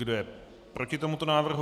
Kdo je proti tomuto návrhu?